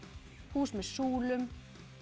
hús með súlum